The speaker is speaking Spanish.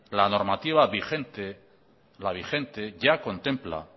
la normativa vigente ya contempla